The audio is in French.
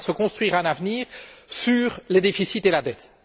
On ne peut pas se construire un avenir sur les déficits et la dette.